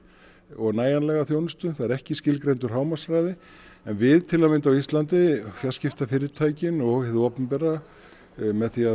og nægjanlega þjónustu það er ekki skilgreindur hámarkshraði en við til að mynda á Íslandi fjarskiptafyrirtækin og hið opinbera með því